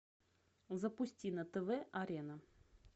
запусти на тв арена